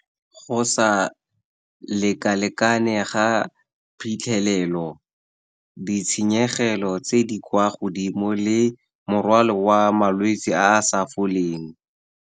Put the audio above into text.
Go sa lekalekane ga phitlhelelo, ditshenyegelo tse di kwa godimo, le morwalo wa malwetse a a sa foleng.